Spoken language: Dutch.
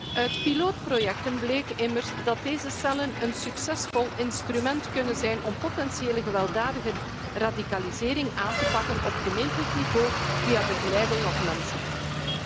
Uit pilootprojecten bleek immers dat deze cellen een succesvol instrument kunnen zijn om potentiële gewelddadige radicalisering aan te pakken op gemeentelijk niveau via begeleiding op mensenmaat.